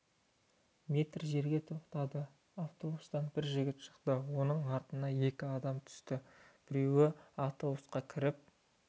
метр жерге тоқтады автобустан бір жігіт шықты оның артынан екі адам түсті біреуі автобусқа кіріп